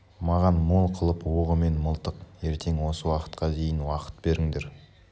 маған мол қылып оғымен мылтық ертең осы уақытқа дейін уақыт беріңдер